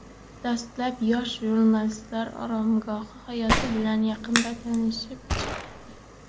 Dastlab, yosh jurnalistlar oromgoh hayoti bilan yaqindan tanishib chiqdi.